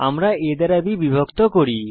আমরা a দ্বারা b বিভক্ত করি